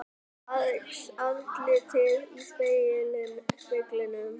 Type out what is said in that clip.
Aðeins andlitið í speglinum.